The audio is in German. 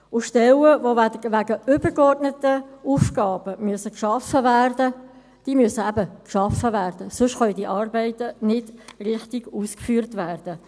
Stellen, die wegen übergeordneter Aufgaben geschaffen werden müssen, müssen eben geschaffen werden, denn sonst können diese Arbeiten nicht richtig ausgeführt werden.